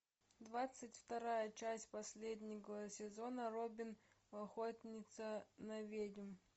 двадцать вторая часть последнего сезона робин охотница на ведьм